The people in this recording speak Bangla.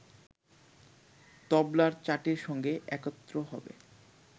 তবলার চাটির সঙ্গে একত্র হবে